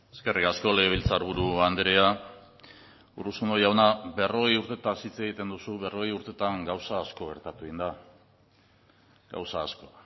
eskerrik asko legebiltzarburu andrea urruzuno jauna berrogei urtetaz hitz egiten duzu berrogei urtetan gauza asko gertatu egin da gauza asko